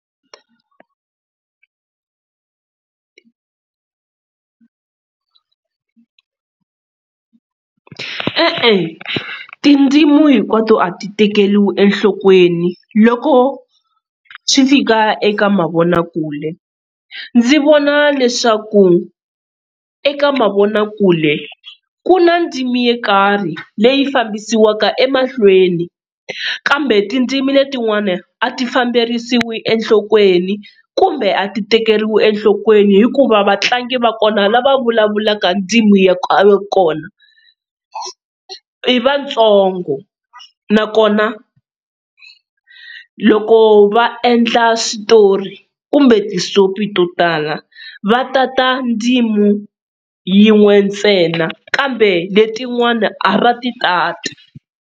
E-e tindzimu hinkwato a ti tekeriwi enhlokweni loko swi fika eka mavonakule, ndzi vona leswaku eka mavonakule ku na ndzimi yo nkarhi leyi fambisiwaka emahlweni kambe tindzimi letinwana a ti famberisiwi enhlokweni kumbe a ti tekeriwi enhlokweni, hikuva vatlangi va kona lava vulavulaka ndzimi ya ka kona i vatsongo nakona loko va endla switori kumbe ti-soap-i to tala va tata ndzimi yin'we ntsena kambe letin'wana a va ti tati.